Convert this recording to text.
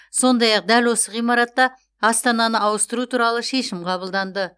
сондай ақ дәл осы ғимаратта астананы ауыстыру туралы шешім қабылданды